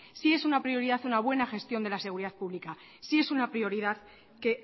sí es una prioridad una buena gestión de la seguridad pública sí es una prioridad que